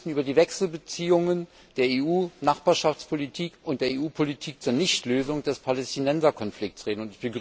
Wir müssten über die Wechselbeziehungen der EU Nachbarschaftspolitik und der EU Politik zur Nichtlösung des Palästinenserkonflikts reden.